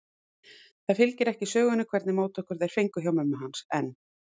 Það fylgir ekki sögunni hvernig móttökur þeir fengu hjá mömmu hans, en